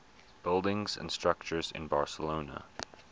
buildings and structures in barcelona